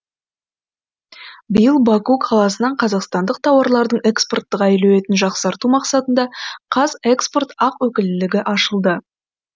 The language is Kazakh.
биыл баку қаласынан қазақстандық тауарлардың экспорттық әлеуетін жақсарту мақсатында қазэкспорт ақ өкілдігі ашылады